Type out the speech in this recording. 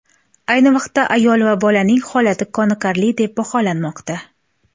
Ayni vaqtda ayol va bolaning holati qoniqarli deb baholanmoqda.